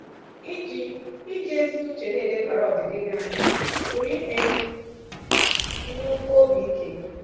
Iji Iji ezi uche na-elebara ọdịdị gị anya pụrụ ime ka i nwekwuo obi ike.